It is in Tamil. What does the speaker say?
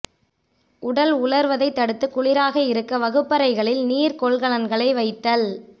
உடல் உலர்வதை தடுத்து குளிராக இருக்க வகுப்பறைகளில் நீர் கொள்கலன்களை வைத்தல்